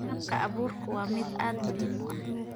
Habka abuurku waa mid aad muhiim u ah.